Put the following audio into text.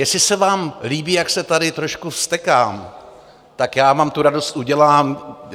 Jestli se vám líbí, jak se tady trošku vztekám, tak já vám tu radost udělám.